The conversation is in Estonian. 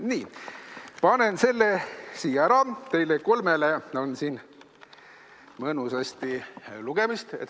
" Nii, panen selle siia ära, teile kolmele on siin mõnusasti lugemist.